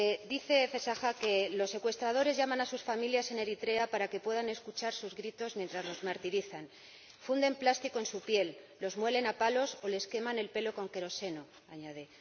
Dice Alganesh Fessaha que los secuestradores llaman a sus familias en Eritrea para que puedan escuchar sus gritos mientras los martirizan funden plástico en su piel, los muelen a palos o les queman el pelo con queroseno ―añade―.